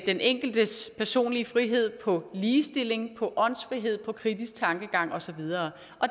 den enkeltes personlige frihed ligestilling åndsfrihed kritisk tankegang og så videre